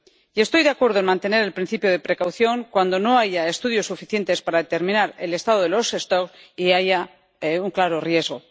Y estoy de acuerdo en mantener el principio de precaución cuando no haya estudios suficientes para determinar el estado de las poblaciones y haya un claro riesgo.